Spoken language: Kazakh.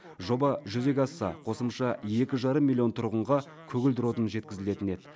жоба жүзеге асса қосымша екі жарым миллион тұрғынға көгілдір отын жеткізілетін еді